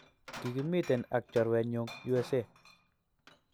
Kikimiten ak chorwenyuk U.S.A